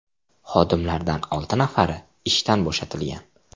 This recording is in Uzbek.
Xodimlardan olti nafari ishdan bo‘shatilgan.